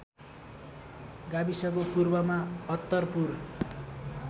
गाविसको पूर्वमा अत्तरपुर